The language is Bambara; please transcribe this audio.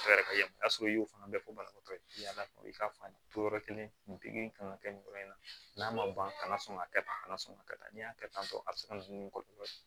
y'o fana fɔ banabaatɔ ye i k'a faamu yɔrɔ kelen kan ka kɛ nin yɔrɔ in na n'a ma ban ka na sɔn ka kɛ tan a kana sɔn ka kɛ tan n'i y'a kɛ tan tɔ a be se ka na ni kɔlɔlɔ ye